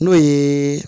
N'o ye